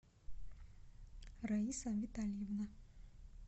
раиса витальевна